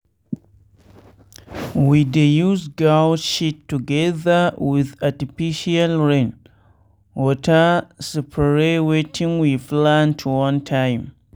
we dey use goat shit together with artificial rain water spray wetin we plant one time.